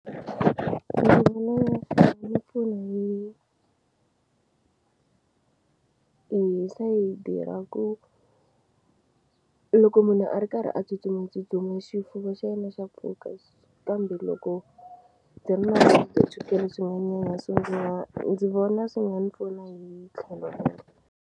Ni vona nga ku nga ni pfuna hi hi sayiti ra ku loko munhu a ri karhi a tsutsumatsutsuma xifuva xa yena xa pfuka kambe loko ndzi ri na ndzi vona swi nga ndzi pfuna hi tlhelo rero.